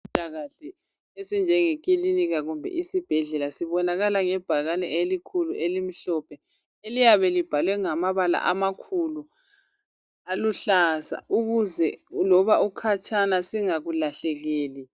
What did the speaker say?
Ezempilakahle esinjengekilinika kumbe isibhedlela sibonakala ngebhakane elikhulu elimhlophe eliyabe libhalwe ngamabala amakhulu aluhlaza, ukuze loba ukhatshana singakulahlekeli.